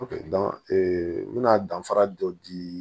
n bɛna danfara dɔ di